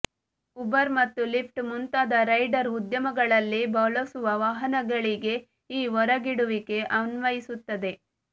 Uber ಮತ್ತು Lyft ಮುಂತಾದ rideshare ಉದ್ಯಮಗಳಲ್ಲಿ ಬಳಸುವ ವಾಹನಗಳಿಗೆ ಈ ಹೊರಗಿಡುವಿಕೆ ಅನ್ವಯಿಸುತ್ತದೆ